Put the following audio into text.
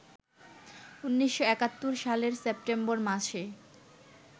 ১৯৭১ সালের সেপ্টেম্বর মাসে